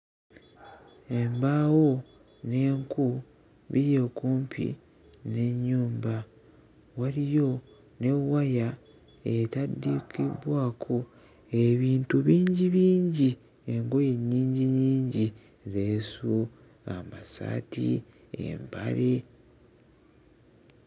Embaawo n'enku biyi okumpi n'ennyumba waliyo ne waya etaddikibbwako ebintu bingibingi engoye nnyinginnyingi leesu, amasaati, empale.